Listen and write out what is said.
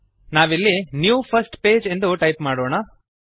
ನಾವಿಲ್ಲಿnew first page ಎಂದು type ಮಾಡೋಣ